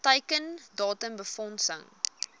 teiken datum befondsing